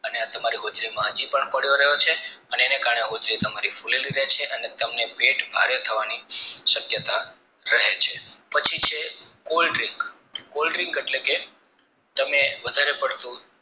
અને તમારી હોજરીમાં હાજી પણ પડ્યો રહ્યો છે અનેનેન કારણે હોજરી તમારી ફૂલેલી રહે છે અને પેટ તમને ભારે થવાની શક્યતા રહે છે પછી છે cold drink cold drink એટલે કે તમે વધારે પડતું